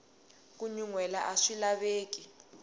ku nyuhela aswi laveki